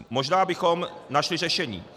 Možná bychom našli řešení.